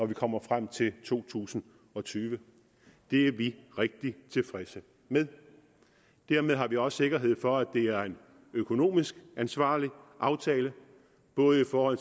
vi kommer frem til to tusind og tyve det er vi rigtig tilfredse med dermed har vi også sikkerhed for at det er en økonomisk ansvarlig aftale både for